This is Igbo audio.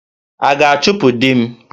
A ga-achụpụ di m?